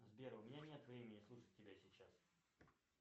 сбер у меня нет времени слушать тебя сейчас